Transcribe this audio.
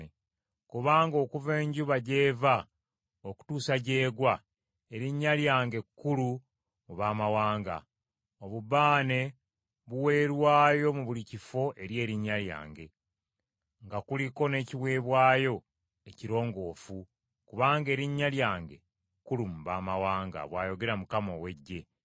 Kubanga okuva enjuba gy’eva okutuusa gy’egwa erinnya lyange kkulu mu baamawanga; obubaane buweerwayo mu buli kifo eri erinnya lyange, nga kuliko n’ekiweebwayo ekirongoofu, kubanga erinnya lyange kkulu mu baamawanga,” bw’ayogera Mukama ow’Eggye.